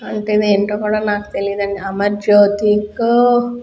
అయతె దీంట్లో కూడా నాకు తెలీదండి అమర్జోతిక --